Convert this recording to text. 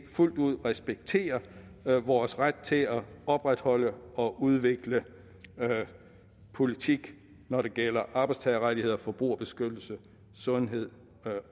fuldt ud respekterer vores ret til at opretholde og udvikle politik når det gælder arbejdstagerrettigheder forbrugerbeskyttelse sundhed